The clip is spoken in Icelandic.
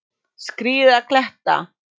Skríða kletta.